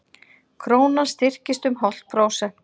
Krónan styrktist um hálft prósent